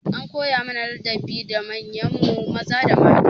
An koya mana ladabi ga manyan mu maza da mata.